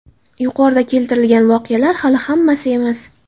Yuqoridagi keltirilgan voqealar hali hammasi emas.